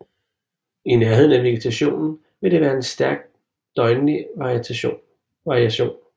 I nærheden af vegetation vil det være en stærk døgnlig variation